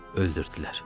Öldürdülər.